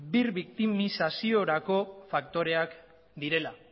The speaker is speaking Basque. birbiktimizaziorako faktoreak direla